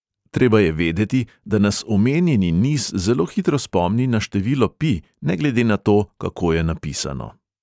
Treba je vedeti, da nas omenjeni niz zelo hitro spomni na število pi, ne glede na to, kako je napisano.